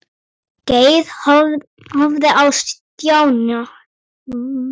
Geir horfði á Stjána.